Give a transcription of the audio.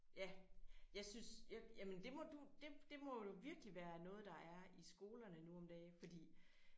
Ja jeg synes jamen det må du det det må du virkelig være noget der er i skolerne nu om dage fordi